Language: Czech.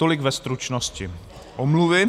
Tolik ve stručnosti omluvy.